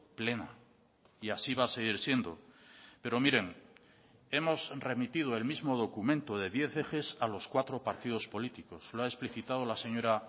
plena y así va a seguir siendo pero miren hemos remitido el mismo documento de diez ejes a los cuatro partidos políticos lo ha explicitado la señora